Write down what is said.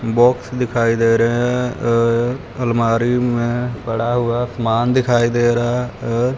Box दिखाई दे रहे हैं एक अलमारी में पड़ा हुआ सामान दिखाई दे रहा है।